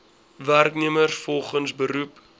werknemers volgens beroep